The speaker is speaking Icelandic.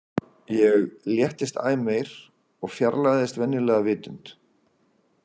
Ég léttist æ meir og fjarlægðist venjulega vitund.